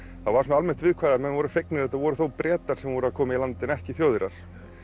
þá var svona almennt viðkvæðið að menn voru fegnir að þetta voru þó Bretar sem voru að koma í land en ekki Þjóðverjar